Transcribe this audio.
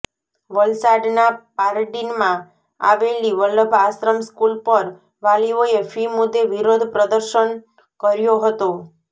વલસાડના પારડી માં આવેલી વલ્લભ આશ્રમ સ્કૂલ પર વાલીઓએ ફી મુદ્દે વિરોધ પ્રદર્શન કર્યો હતો